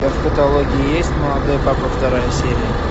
у тебя в каталоге есть молодой папа вторая серия